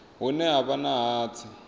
hune ha vha na hatsi